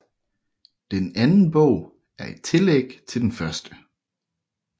Den anden bog er et tillæg til den første